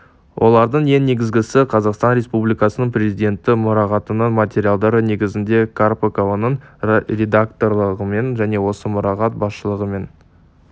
олардың ең негізгісі қазақстан республикасының президенті мұрағатының материалдары негізінде карпыкованың редакторлығымен және осы мұрағат басшылығы мен